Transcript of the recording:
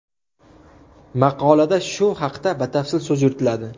Maqolada shu haqda batafsil so‘z yuritiladi.